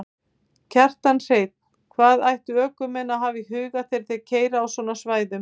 Kjartan Hreinn: Hvað ættu ökumenn að hafa í huga þegar þeir keyra á svona svæðum?